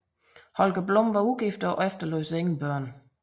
Holger Blom var ugift og efterlod sig ingen børn